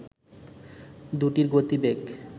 দুটির গতিবেগ